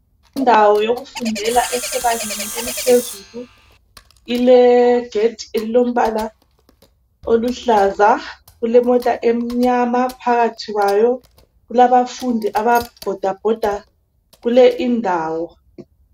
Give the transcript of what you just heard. Indawo yokufundela esebangeni eliphezulu ilegedi elilombala oluhlaza, kulemota emnyama phakathi kwayo kulabafundi ababhodabhoda kuleyindawo.